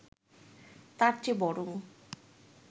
তার চেয়ে বরং